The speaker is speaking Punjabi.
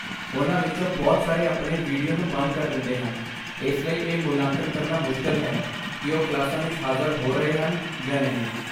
ਉਨ੍ਹਾਂ ਵਿੱਚੋਂ ਬਹੁਤ ਸਾਰੇ ਆਪਣੇ ਵੀਡੀਓ ਨੂੰ ਬੰਦ ਕਰ ਦਿੰਦੇ ਹਨ, ਇਸ ਲਈ ਇਹ ਮੁਲਾਂਕਣ ਕਰਨਾ ਮੁਸ਼ਕਲ ਹੈ ਕਿ ਉਹ ਕਲਾਸਾਂ ਵਿੱਚ ਹਾਜ਼ਰ ਹੋ ਰਹੇ ਹਨ ਜਾਂ ਨਹੀਂ।